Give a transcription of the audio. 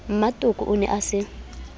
mmatoko o ne a se